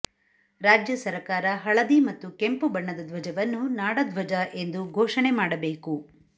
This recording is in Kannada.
ರಾಜ್ಯ ಸರಕಾರ ಹಳದಿ ಮತ್ತು ಕೆಂಪು ಬಣ್ಣದ ಧ್ವಜವನ್ನು ನಾಡಧ್ವಜ ಎಂದು ಘೋಷಣೆ ಮಾಡಬೇಕು